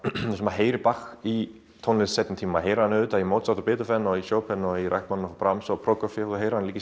heyrir í tónlist seinni tíma maður heyrir hann auðvitað í Mozart og Beethoven þú heyrir hann líka í